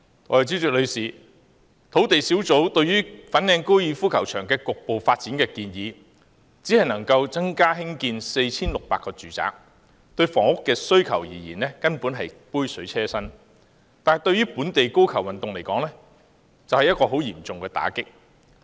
代理主席，土地供應專責小組提出的粉嶺高爾夫球場局部發展建議，只能興建 4,600 個住宅，對房屋需求而言，根本是杯水車薪，但對於本地高爾夫球運動而言，卻是十分嚴重的打擊。